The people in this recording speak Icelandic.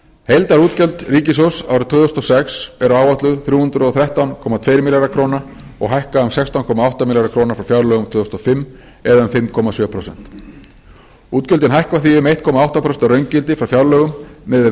heildarútgjöld ríkissjóðs árið tvö þúsund og sex eru áætluð þrjú hundruð og þrettán komma tveir milljarðar króna og hækka um sextán komma átta milljarða króna frá fjárlögum tvö þúsund og fimm eða um fimm komma sjö prósent útgjöldin hækka því um einn komma átta prósent að raungildi frá fjárlögum miðað við